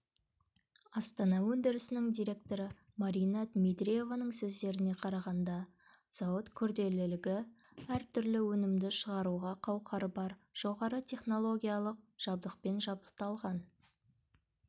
астана өндірісінің директоры марина дмитриеваның сөздеріне қарағанда зауыт күрделілігі әр түрлі өнімді шығаруға қауқары бар жоғары технологиялық жабдықпен жабдықталған